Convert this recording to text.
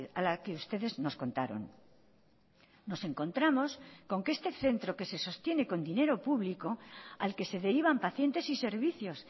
a la que ustedes nos contaron nos encontramos con que este centro que se sostiene con dinero público al que se derivan pacientes y servicios